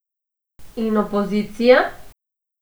In opozicija?